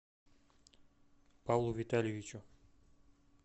павлу витальевичу